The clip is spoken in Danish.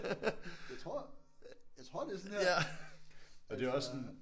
Jeg tror jeg tror det er sådan her altså